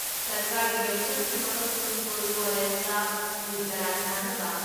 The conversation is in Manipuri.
ꯁꯔꯀꯥꯔꯒꯤ ꯂꯣꯏꯁꯪꯁꯤꯡ ꯑꯃꯁꯨꯡ ꯁ꯭ꯀꯨꯜ ꯀꯂꯦꯖꯁꯤꯡꯇ ꯎ ꯆꯥꯔꯥ ꯊꯥꯅꯕ